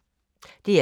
DR2